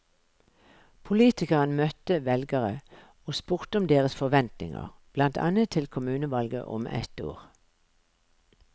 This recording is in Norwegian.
Politikeren møtte velgere og spurte om deres forventninger, blant annet til kommunevalget om ett år.